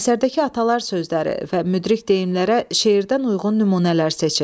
Əsərdəki atalar sözləri və müdrik deyimlərə şeirdən uyğun nümunələr seçin.